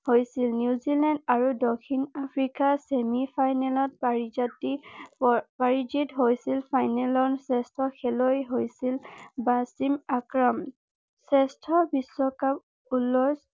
হৈছিল নিউজিলেণ্ড আৰু দক্ষিণ আফ্ৰিকা চেমি ফাইনেলত পাৰিজাতি পাৰিজিত হৈছিল ফাইনেল ৰাউণ্ড শ্ৰেষ্ঠ খেলুৱৈ হৈছিল ৱাচিম আক্ৰাম